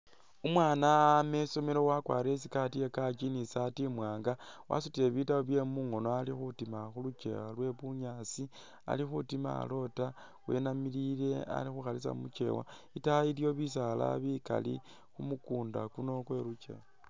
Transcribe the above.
Umwaana ama isomelo wakwarire i'skirt ya kaki ni isaati imwaanga wasutile bitabu byewe mungono ali khutima khu lukewa lwe bunyaasi, ali khutima alota wenamilile ali khukhalisa khu lukewa, itaayi iliwo bisaala bikali kumukunda kuno kwe lukyeewa.